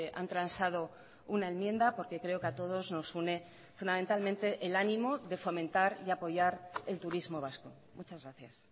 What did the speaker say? han transado una enmienda porque creo que a todos nos une fundamentalmente el ánimo de fomentar y apoyar el turismo vasco muchas gracias